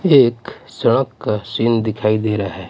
एक सड़क का सीन दिखाई दे रहा है.